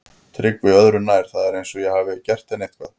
TRYGGVI: Öðru nær, það er eins og ég hafi gert henni eitthvað.